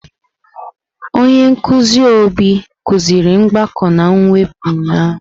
Onye nkuzi Obi kuziri mgbakọ na mwepụ ụnyahụ.